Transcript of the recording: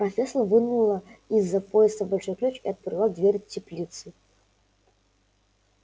профессор вынула из-за пояса большой ключ и отперла дверь теплицы